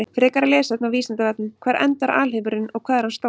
Frekara lesefni á Vísindavefnum: Hvar endar alheimurinn og hvað er hann stór?